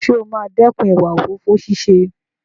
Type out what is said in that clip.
Ǹjẹ́ o máa dẹ́kun ìwà òfófó ṣíṣe?